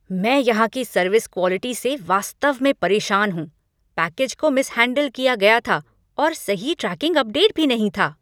मैं यहाँ की सर्विस क्वॉलिटी से वास्तव में परेशान हूँ। पैकेज को मिसहैंडेल किया गया था, और सही ट्रैकिंग अपडेट भी नहीं था!